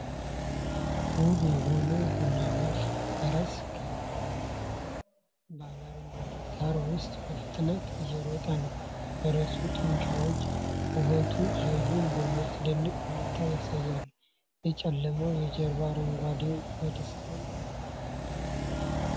ውብ የሆነው ቡናማ ፈረስ ከፍ ባለ አረንጓዴ ሣር ውስጥ በፍጥነት እየሮጠ ነው። የፈረሱ ጡንቻዎች ውበቱንና ኃይሉን በሚያስደንቅ ሁኔታ ያሳያሉ። የጨለመው የጀርባ አረንጓዴው የደስታና የፍቅር ስሜት ይፈጥራል።